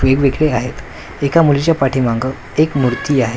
वेगवेगळे आहेत एका मुलीच्या पाठीमागं एक मूर्ती आहे.